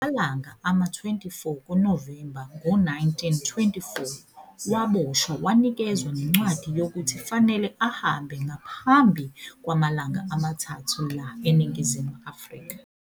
Ngamalanga ama-24 kuNovemba ngo 1924 waboshwa wanikezwa nencwadi yokuthi fanele ahambe ngaphambi kwamalanga amathathu la eNingizimu Afrika.